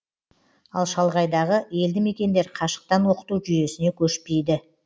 ал шалғайдағы елді мекендер қашықтан оқыту жүйесіне көшпейді